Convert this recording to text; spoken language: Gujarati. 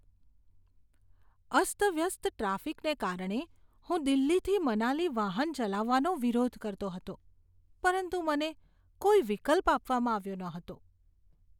અસ્તવ્યસ્ત ટ્રાફિકને કારણે હું દિલ્હીથી મનાલી વાહન ચલાવવાનો વિરોધ કરતો હતો, પરંતુ મને કોઈ વિકલ્પ આપવામાં આવ્યો ન હતો.